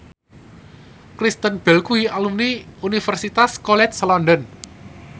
Kristen Bell kuwi alumni Universitas College London